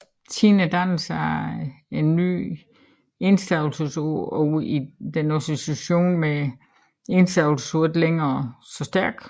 Siden dannelsen af nye enstavelsesord er denne association med enstavelsesord ikke længere så stærk